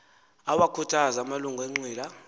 awakhuthaze amalungu enqila